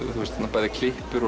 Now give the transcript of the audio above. bæði klippur